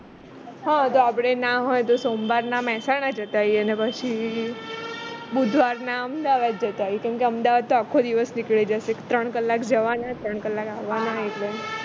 હ જો આપણે ના હોય તો સોમવારના મેહસાણા જતા રહીએ ને પછી બુધવારના અમદાવાદ જતા આઇએ કેમ કે અમદાવાદ તો આખો દિવસ નીકળી જશે ત્રણ કલાક જવાના ત્રણ કલાક આવવાના એટલે